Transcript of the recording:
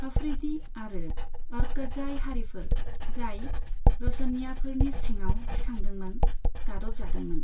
आफरीदी आरो अ'रकजई हारिफोर, जाय र'शनिय्याफोरनि सिङाव सिखांदोंमोन, गादबजादोंमोन।